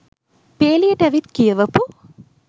පේලියට ඇවිත් කියවපු